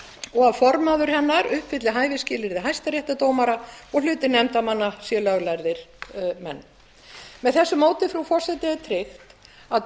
og að formaður hennar uppfylli hæfisskilyrði hæstaréttardómara og að hluti nefndarmanna sé löglærðir menn með þessu móti frú forseti er tryggt að